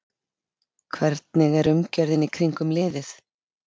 Hvernig er umgjörðin í kringum liðið?